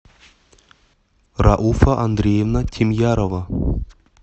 рауфа андреевна тимьярова